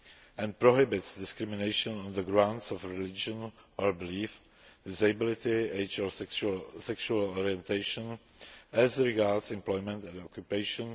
and prohibits discrimination on the grounds of religion or belief, disability, age or sexual orientation as regards employment and occupation.